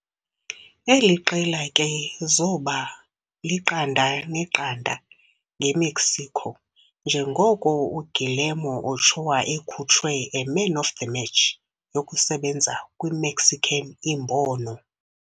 eli qela ke zoba 0-0 nge-Mexico, njengoko Guillermo Ochoa ekhutshwe a man of the match yokusebenza kwi-Mexican imbono.